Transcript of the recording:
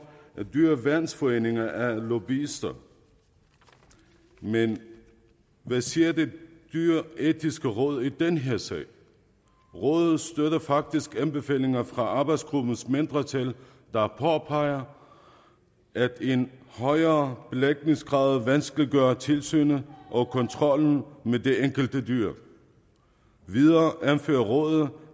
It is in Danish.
at dyreværnsforeningerne er nogle novicer men hvad siger det dyreetiske råd i den her sag rådet støtter faktisk anbefalingerne fra arbejdsgruppens mindretal der påpeger at en højere belægningsgrad vil vanskeliggøre tilsynet og kontrollen med det enkelte dyr videre anfører rådet at